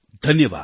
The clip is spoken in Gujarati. ધન્યવાદ